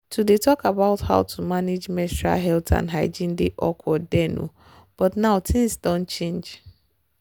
to dey talk about how to manage menstrual health and hygiene dey awkward then oh but now things doh change